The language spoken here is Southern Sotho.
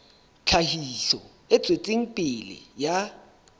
tlhahiso e tswetseng pele ya